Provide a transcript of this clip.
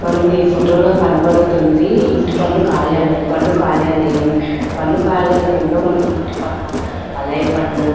మనకు ఈ ఫొటో లో కనబడుతుంది ఇంటి పన్ను కార్యాలయం పన్ను కార్యాలయం పన్ను కార్యాలయంలో మనము ఇంటి పన్ను కుళాయి పన్ను --